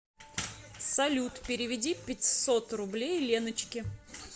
салют переведи пятьсот рублей леночке